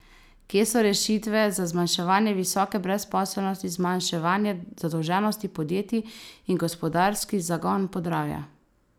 Kje so rešitve za zmanjševanje visoke brezposelnosti, zmanjševanje zadolženosti podjetij in gospodarski zagon Podravja?